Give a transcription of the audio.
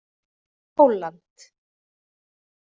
Pólland